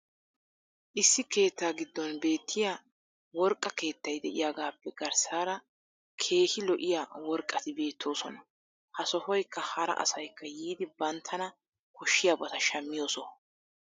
issi keettaa giddon beetiya worqqa keettay diyaagaappe garssaara keehi lo'iyaa worqqati beettoosona. ha sohoykka hara asaykka yiidi banttana koshiyaabata shammiyo soho.